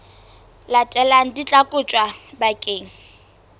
latelang di tla kotjwa bakeng